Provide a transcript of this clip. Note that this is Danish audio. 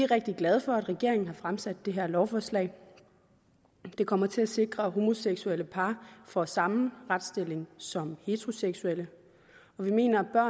rigtig glade for at regeringen har fremsat det her lovforslag det kommer til at sikre at homoseksuelle par får samme retsstilling som heteroseksuelle og vi mener at